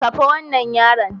Kafa wannan yaron